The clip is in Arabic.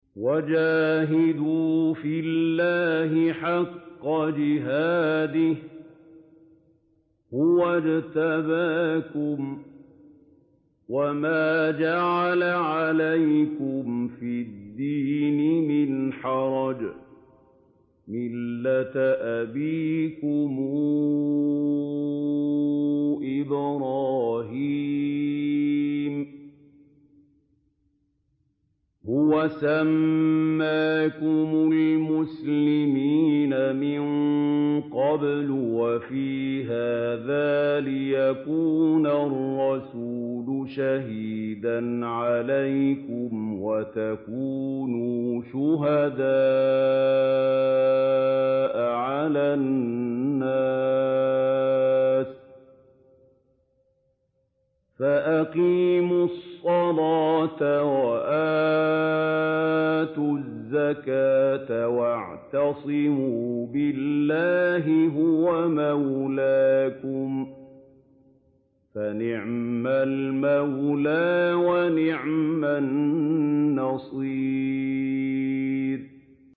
وَجَاهِدُوا فِي اللَّهِ حَقَّ جِهَادِهِ ۚ هُوَ اجْتَبَاكُمْ وَمَا جَعَلَ عَلَيْكُمْ فِي الدِّينِ مِنْ حَرَجٍ ۚ مِّلَّةَ أَبِيكُمْ إِبْرَاهِيمَ ۚ هُوَ سَمَّاكُمُ الْمُسْلِمِينَ مِن قَبْلُ وَفِي هَٰذَا لِيَكُونَ الرَّسُولُ شَهِيدًا عَلَيْكُمْ وَتَكُونُوا شُهَدَاءَ عَلَى النَّاسِ ۚ فَأَقِيمُوا الصَّلَاةَ وَآتُوا الزَّكَاةَ وَاعْتَصِمُوا بِاللَّهِ هُوَ مَوْلَاكُمْ ۖ فَنِعْمَ الْمَوْلَىٰ وَنِعْمَ النَّصِيرُ